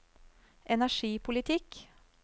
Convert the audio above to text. energipolitikk